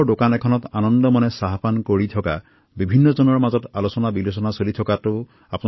মই তেওঁলোকৰ উজ্জ্বল ভৱিষ্যত কামনা কৰিছো